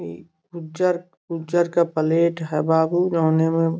इ उज्जर उज्जर का प्लेट हवा --